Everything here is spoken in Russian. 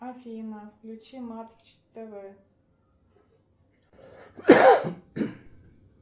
афина включи матч тв